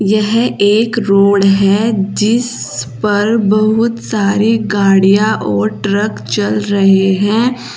यह एक रोड है जिस पर बहुत सारी गाड़ियां और ट्रक चल रहे है।